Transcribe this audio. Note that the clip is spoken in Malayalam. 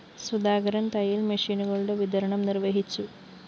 സുധാകരന്‍ തയ്യല്‍ മെഷീനുകളുടെ വിതരണം നിര്‍വ്വഹിച്ചു